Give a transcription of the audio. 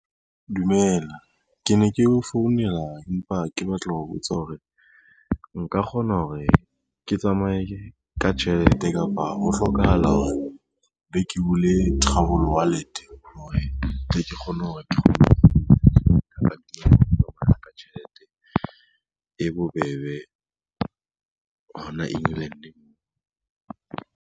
Dumela, ke ne ke o founela empa ke batla ho botsa hore nka kgona hore ke tsamaye ka tjhelete kapa ho hlokahala hore be ke bule travel wallet hore tle ke kgone ka tjhelete e bobebe hona England moo.